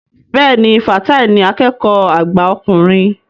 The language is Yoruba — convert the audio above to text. Bẹ́ẹ̀ni, Fatai ni akẹ́kọ̀ọ́ àgbà ọkùnrin